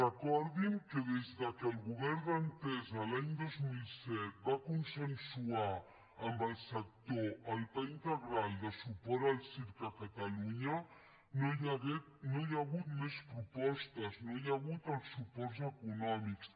recordin que des que el govern d’entesa l’any dos mil set va consensuar amb el sector el pla integral de suport al circ a catalunya no hi ha hagut més propostes no hi ha hagut els suports econòmics